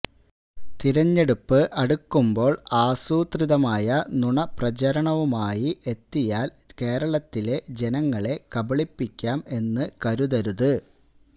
തെരഞ്ഞെടുപ്പ് അടുക്കുമ്പോൾ ആസൂത്രിതമായ നുണപ്രചാരണവുമായി എത്തിയാൽ കേരളത്തിലെ ജനങ്ങളെ കബളിപ്പിക്കാം എന്ന് കരുതരുത്